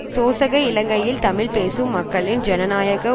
சோசக இலங்கையில் தமிழ் பேசும் மக்களின் ஜனநாயக